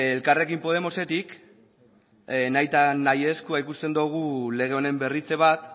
elkarrekin podemosetik nahita nahi ezkoa ikusten dugu lege honen berritze bat